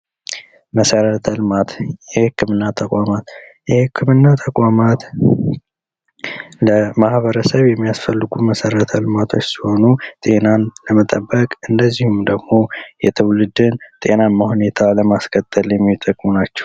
መሰረተ ልማት፦ የህክምና ተቋማት፦ የህክምና ተቋማት ለማህበረሰብ የሚያስፈልጉ መሰረተ ልማቶች ሲሆኑ ጤናን ለመጠበቅ እንደዚሁም ደግሞ የትውልድን ጤናማ ሁኔታን ለማቀጠል የሚጠቅሙ ናቸው።